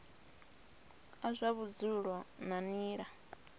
a zwa vhudzulo nga nila